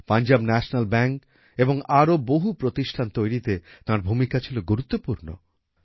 Punjab National Bank এবং আরো বহু প্রতিষ্ঠান তৈরীতে তাঁর ভূমিকা ছিল গুরুত্বপূর্ণ